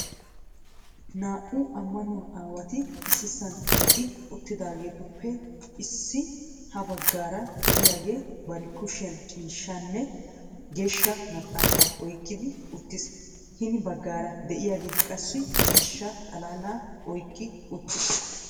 Naa"u ammanuwaa aawati issisan eqqi uttidaagetuppe issi ha baggaara de'iyaage bari lushiyaan ciishshanne Geeshsha Maxaafa oyqqidi uttiis. Hini baggara de'iyaage qassi ciishsha xalaala oyqqi uttiis.